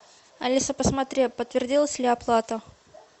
алиса посмотри подтвердилась ли оплата